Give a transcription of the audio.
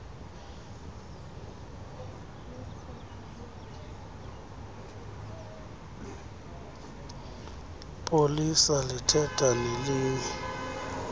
polisa lithetha nelinye